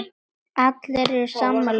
Allir eru sammála um það.